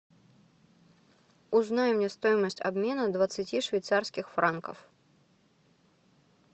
узнай мне стоимость обмена двадцати швейцарских франков